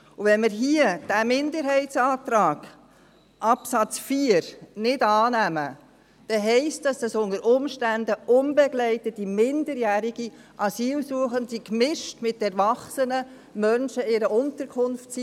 Wenn wir hier den Minderheitsantrag, Absatz 4, nicht annehmen, dann bedeutet dies, dass unbegleitete minderjährige Asylsuchende unter Umständen gemischt mit erwachsenen Menschen in einer Unterkunft sind.